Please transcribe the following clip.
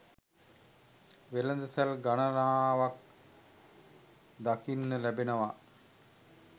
වෙළඳ සල් ගණනාවක් දකින්න ලැබෙනව.